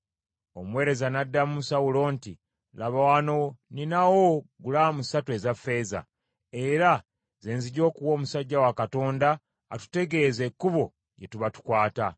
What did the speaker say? Omuweereza n’addamu Sawulo nti, “Laba, wano nninawo gulaamu ssatu eza ffeeza, era ze nzija okuwa omusajja wa Katonda atutegeeze ekkubo lye tuba tukwata.”